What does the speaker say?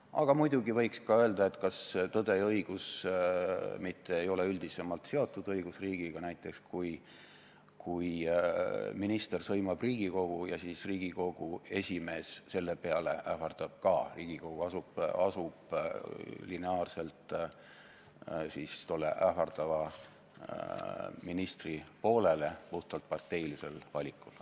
Aga muidugi võiks ka öelda, et kas tõde ja õigus mitte ei ole üldisemalt seotud õigusriigiga, näiteks kui minister sõimab Riigikogu ja siis ka Riigikogu esimees selle peale ähvardab Riigikogu ja asub lineaarselt tolle ähvardava ministri poolele puhtalt parteilisel valikul.